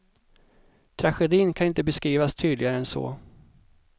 Tragedin kan inte beskrivas tydligare än så.